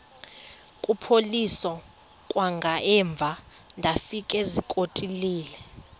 kuphosiliso kwangaemva ndafikezizikotile